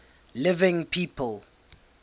living people